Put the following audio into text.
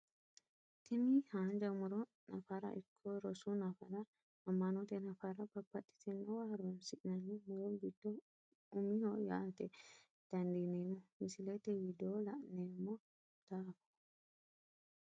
Tini haanja muro nafara ikko rosu nafara ama`note nafara babaxitinowa horonsinani muro giddo umiho yaate dandiinemo misilete widoo la`noomo daafo.